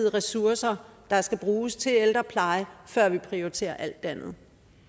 ressourcer der skal bruges til ældrepleje før vi prioriterer alt det andet